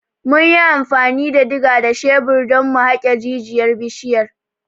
Mun yi amfani da diga da shebir don mu haƙe jijiyar bishiyar.